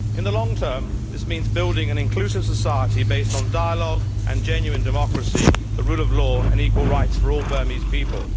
In the long term, this means building an inclusive society based on dialogue and genuine democracy, the rule of law and equal rights for all Burmese people.